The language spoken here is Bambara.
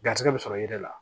Garisigɛ bɛ sɔrɔ yiri la